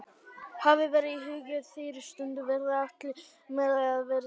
Hafa verður í huga að á þeirri stundu verður allt meðlæti að vera tilbúið.